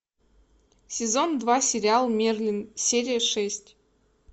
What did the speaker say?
сезон два сериал мерлин серия шесть